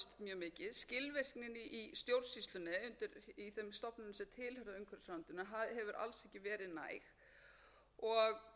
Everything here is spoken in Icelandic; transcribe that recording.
skilvirknin í stjórnsýslunni í þeim stofnunum sem tilheyra umhverfisráðuneytinu hefur alls ekki verið næg það hefur jafnvel dregist langt umfram gefna kærufresti eða afgreiðsla ráðuneytisins hefur hafnað